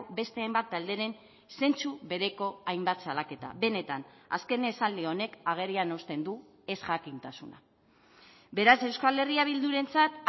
beste hainbat talderen zentzu bereko hainbat salaketa benetan azken esaldi honek agerian uzten du ezjakintasuna beraz euskal herria bildurentzat